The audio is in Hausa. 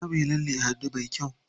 Za muyi lalle a hannu me kyau.